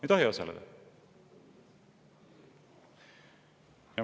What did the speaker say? Ei tohi osaleda!